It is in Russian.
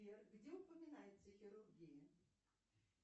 сбер где упоминается хирургия